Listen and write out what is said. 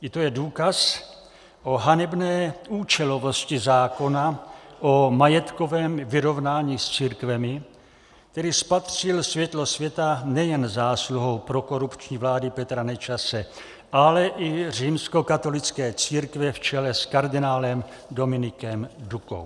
I to je důkaz o hanebné účelovosti zákona o majetkovém vyrovnání s církvemi, který spatřil světlo světa nejen zásluhou prokorupční vlády Petra Nečase, ale i římskokatolické církve v čele s kardinálem Dominikem Dukou.